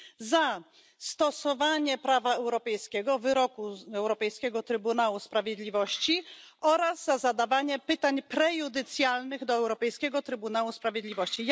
za stosowanie prawa europejskiego, wyroku Europejskiego Trybunału Sprawiedliwości oraz za zadawanie pytań prejudycjalnych do Europejskiego Trybunału Sprawiedliwości.